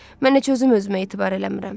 Mən heç özüm özümə etibar eləmirəm.